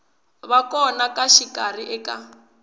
va kona ka rixaka eka